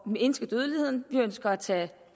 mindske dødeligheden vi ønsker at tage